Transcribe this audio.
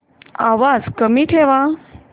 आवाज कमी ठेवा